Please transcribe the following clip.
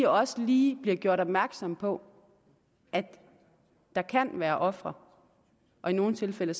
også lige bliver gjort opmærksomme på at der kan være ofre og i nogle tilfælde